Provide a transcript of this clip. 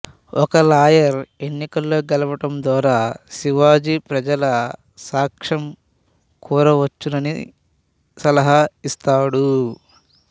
ఒక లాయరు ఎన్నికల్లో గెలవడం ద్వారా శివాజీ ప్రజల సాక్ష్యం కోరవచ్చునని సలహా ఇస్తాడు